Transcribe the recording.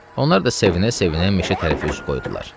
Onlar da sevinə-sevinə meşə tərəfi üz qoydular.